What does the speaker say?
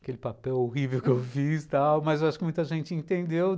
Aquele papel horrível que eu fiz, tal mas acho que muita gente entendeu.